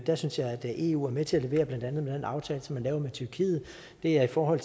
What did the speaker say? der synes jeg eu er med til at levere med blandt andet den aftale som vi laver med tyrkiet det er i forhold